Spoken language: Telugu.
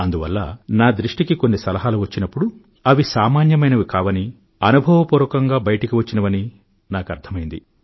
అందువల్ల నా దృష్టికి కొన్ని సలహాలు వచ్చినప్పుడు అవి సామాన్యమైనవి కావని అనుభవపూర్వకంగా బయటకు వచ్చినవని నాకు అర్ధమైంది